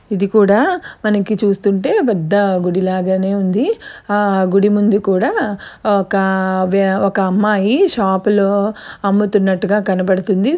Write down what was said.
ఇది కూడా మనకి చూస్తుంటే పెద్ద గుడిలాగానే ఉంది ఆ గుడిముందు కూడా ఒకా వ్య ఒక అమ్మాయి షాపు లో అమ్ముతున్నటుగా కనబడుతుంది.